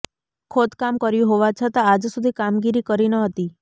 ખોદકામ કર્યું હોવા છતાં આજ સુધી કામગીરી કરી ન હતી